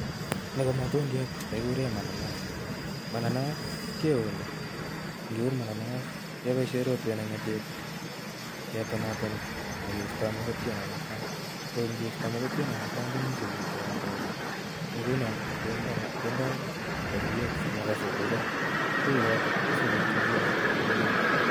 nii ko matundiat negiguree mananasi, mananas keuni , ngeun mamans kebaishe rotwet ne ngatib ketonatoni egeista mogotyet nebaa sang ngeoista mogotiet nebaa sang komii subuk che randagee , ngunoo kendai saburiet simabaa subucho subuchotok keyee